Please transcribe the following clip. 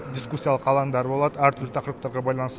дискуссиялық алаңдар болады әртүрлі тақырыптарға байланысты